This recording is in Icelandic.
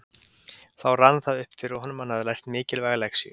Þá rann það upp fyrir honum að hann hafði lært mikilvæga lexíu.